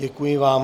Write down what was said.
Děkuji vám.